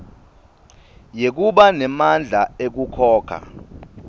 yekuba nemandla ekukhokha